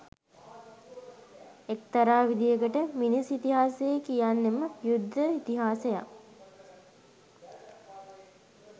එක්තරා විදිහකට මිනිස් ඉතිහාසය කියන්නෙම යුද්ධ ඉතිහාසයක්